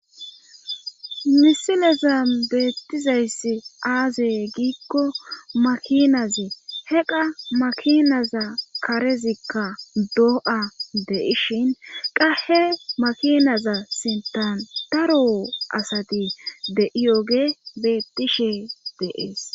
Misileza beettizayssi aazee giikko makinaze he qa makinaza karezikka doo7a deishin qahe makinaza sintan daro asati de7iyoge beettishe deees.